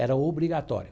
Era obrigatório.